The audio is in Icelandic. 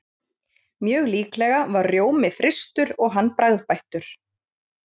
Mjög líklega var rjómi frystur og hann bragðbættur.